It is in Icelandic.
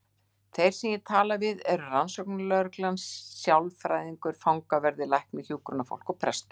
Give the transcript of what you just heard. Þeir sem ég tala við eru rannsóknarlögreglan, sálfræðingur, fangaverðir, læknir, hjúkrunarfólk og prestur.